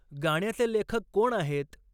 गाण्याचे लेखक कोण आहेत